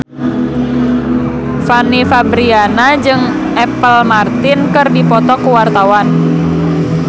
Fanny Fabriana jeung Apple Martin keur dipoto ku wartawan